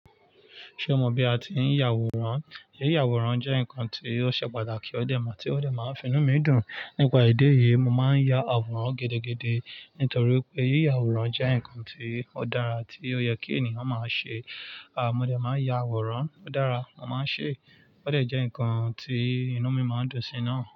Ṣé o mọ bí a ti ń ya àwòrán? Yíyàwòrán jẹ́ nǹkan tí ó ṣe pàtàkì, ó dẹ̀ máa tí ó dẹ̀ máa ń fi inú mi dùn. Nípa idi eyì, mo máa ń ya àwòrán gidigidi nítorí pé yíyàwòrán jẹ́ nǹkan tí ó dára tí ó yẹ kí ènìyàn máa ṣe. À, mo dẹ̀ máa ń ya àwòrán. Ó dára, mo máa ń ṣe é. Ó dẹ̀ jẹ́ nǹkan tí inú mi máa ń dùn sí náà.